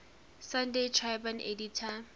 sunday tribune editor